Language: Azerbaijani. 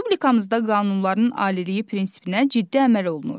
Respublikamızda qanunların aliliyi prinsipinə ciddi əməl olunur.